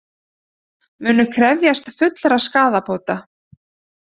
Munu krefjast fullra skaðabóta